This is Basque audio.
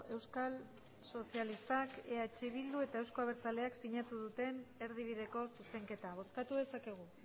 euskal sozialistak eh bilduk eta euzko abertzaleak sinatu duten erdibideko zuzenketa bozkatu dezakegu